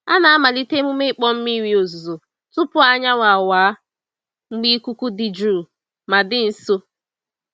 A na-amalite emume ịkpọ mmiri ozuzo tupu anyanwụ awa, mgbe ikuku dị jụụ ma dị nsọ.